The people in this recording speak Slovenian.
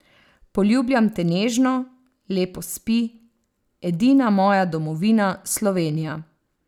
Poljubljam te nežno, lepo spi, edina moja domovina Slovenija.